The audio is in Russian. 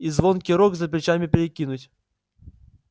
и звонкий рог за плечами перекинуть